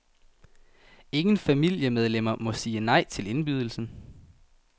Ingen familiemedlemmer må sige nej til indbydelsen.